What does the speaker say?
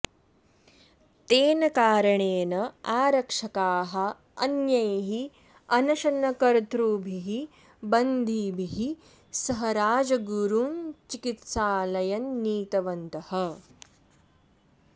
तेन कारणेन आरक्षकाः अन्यैः अनशनकर्तृभिः बन्दिभिः सह राजगुरुं चिकित्सालयं नीतवन्तः